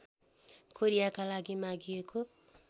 कोरियाका लागि मागिएको